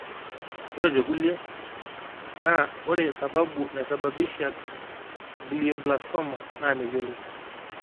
ore tekulie, naa ore sababu naisababisha glioblastoma naa meyioloi.